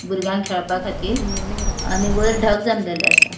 भुरग्यांक खेळपा खातीर आणि वैर ढग जमलेले आसा.